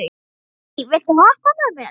Hædý, viltu hoppa með mér?